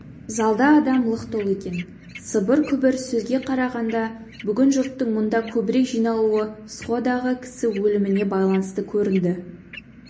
залда адам лық толы екен сыбыр-күбір сөзге қарағанда бүгін жұрттың мұнда көбірек жиналуы сходағы кісі өліміне байланысты көрінді